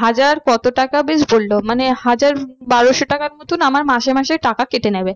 হাজার কত টাকা বেশ বললো মানে হাজার বারোশো টাকার মতোন আমার মাসে মাসে টাকা কেটে নেবে।